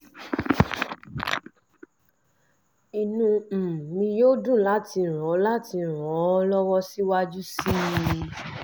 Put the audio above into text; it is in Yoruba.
inú um mi yóò dùn láti ràn láti ràn ọ́ lọ́wọ́ síwájú sí i